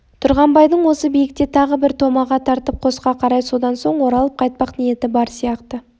тұрғанбайдың осы биікте тағы бір томаға тартып қосқа қарай содан соң оралып қайтпақ ниеті бар сияқты